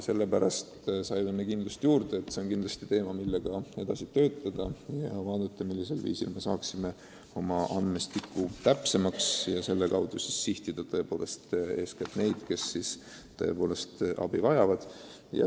Meie aga saime kindlust juurde, et see on teema, mille kallal edasi töötada ja vaadata, millisel viisil me saaksime oma andmestiku täpsemaks, et siis sihtida eeskätt neid, kes tõepoolest abi vajavad.